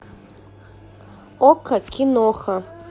окко киноха